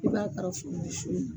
I b'a